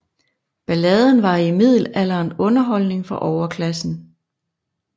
Balladen var i middelalderen underholdning for overklassen